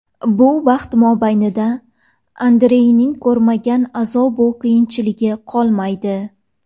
Bu vaqt mobaynida Andreyning ko‘rmagan azob-u qiyinchiligi qolmaydi.